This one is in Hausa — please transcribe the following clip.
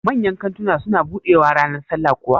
Manyan kantuna su na buɗewaa ranar sallah kuwa?